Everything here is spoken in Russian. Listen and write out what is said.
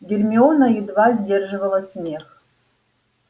гермиона едва сдерживала смех